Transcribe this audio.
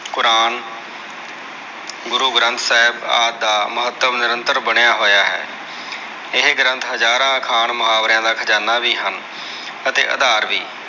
ਕੁਰਾਨ, ਗੁਰੂ ਗ੍ਰੰਥ ਸਾਹਿਬ ਆਦਿ ਦਾ ਮਹੱਤਵ ਨਿਰੰਤਰ ਬਣਿਆ ਹੋਇਆ ਹੈ । ਇਹ ਗ੍ਰੰਥ ਹਜਾਰਾਂ ਅਖਾਣ ਮੁਹਾਵਰਿਆ ਦਾ ਖਜਾਨਾ ਵੀ ਹਨ। ਅਤੇ ਅਧਾਰ ਵੀ